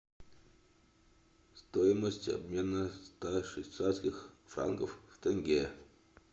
стоимость обмена ста швейцарских франков в тенге